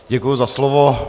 Děkuji za slovo.